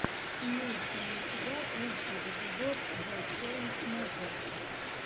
имеется ли у тебя лучший эпизод зе чейнсмокерс